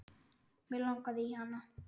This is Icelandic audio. Mig langaði í hana.